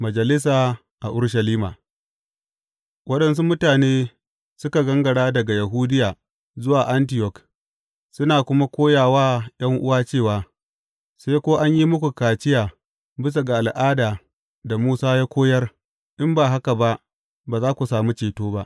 Majalisa a Urushalima Waɗansu mutane suka gangara daga Yahudiya zuwa Antiyok suna kuma koya wa ’yan’uwa cewa, Sai ko an yi muku kaciya bisa ga al’ada da Musa ya koyar, in ba haka ba, ba za ku sami ceto ba.